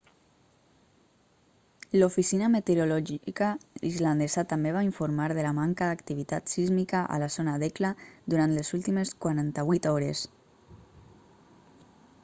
l'oficina meteorològica islandesa també va informar de la manca d'activitat sísmica a la zona d'hekla durant les últimes 48 hores